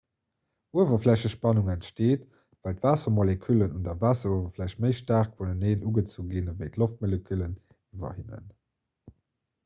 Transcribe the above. uewerflächespannung entsteet well d'waassermoleküllen un der waasseruewerfläch méi staark vuneneen ugezu ginn ewéi d'loftmoleküllen iwwer hinnen